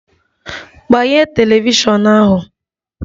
Gbanye telivishọn ahu!